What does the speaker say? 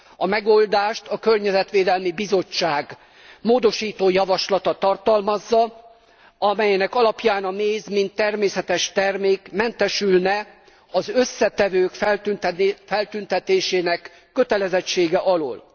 A megoldást a Környezetvédelmi Bizottság módosító javaslata tartalmazza, amelynek alapján a méz, mint természetes termék mentesülne az összetevők feltüntetésének kötelezettsége alól.